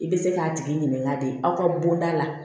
I bɛ se k'a tigi ɲininka de aw ka bonda la